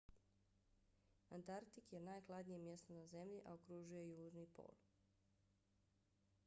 antarktik je najhladnije mjesto na zemlji a okružuje južni pol